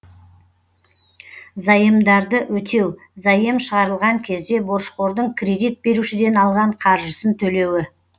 заемдарды өтеу заем шығарылған кезде борышқордың кредит берушіден алған қаржысын төлеуі